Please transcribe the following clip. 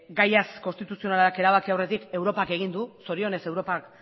gaia konstituzionalak erabaki aurretik europak egin du zorionez europak